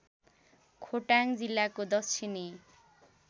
खोटाङ जिल्लाको दक्षिणी